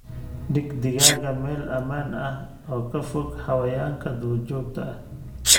Dhig digaagga meel ammaan ah oo ka fog xayawaanka duurjoogta ah.